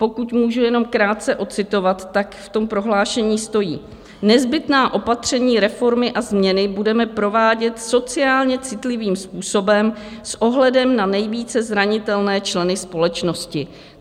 Pokud můžu jenom krátce ocitovat, tak v tom prohlášení stojí: Nezbytná opatření, reformy a změny budeme provádět sociálně citlivým způsobem s ohledem na nejvíce zranitelné členy společnosti.